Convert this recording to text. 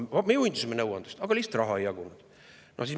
Me juhindusime nõuandest, aga lihtsalt raha ei jagunud!